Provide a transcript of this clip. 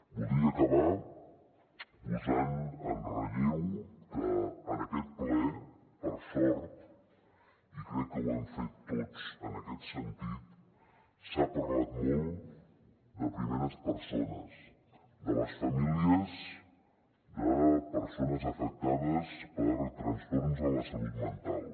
voldria acabar posant en relleu que en aquest ple per sort i crec que ho hem fet tots en aquest sentit s’ha parlat molt de primeres persones de les famílies de persones afectades per trastorns en la salut mental